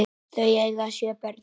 Þau eiga sjö börn.